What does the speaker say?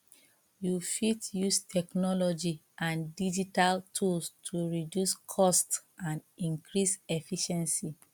you fit use technology and digital tools to reduce costs and increase efficiency